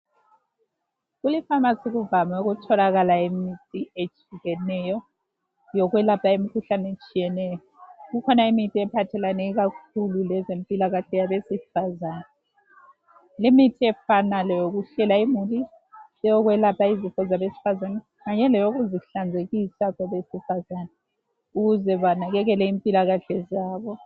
Kulifamasi kuvame ukutholakala imithi etshiyeneyo, yokwelapha imikhuhlane etshiyeneyo. Kukhona imithi ephathelane kakhulu lezempilakahle yabesifazane. Limithi efana leyokuhlela imuli, eyokwelapha izifo zabesifazane kanye loyokuzihlanzekisa kwabesifazane ukuze banakekele impilakahle zabo.